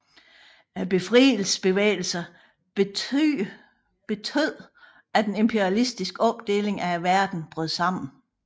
Befrielsesbevægelserne betød at den imperialistiske opdeling af verden brød sammen